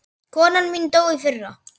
Konan mín dó í fyrra.